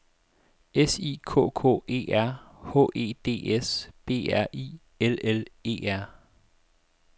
S I K K E R H E D S B R I L L E R